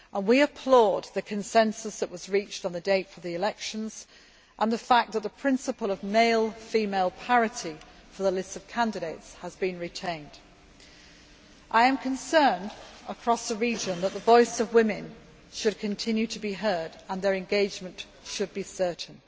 We applaud the consensus that was reached on the date for the elections and the fact that the principle of male female parity for the lists of candidates has been retained. I am concerned that the voice of women should continue to be heard and their engagement certain.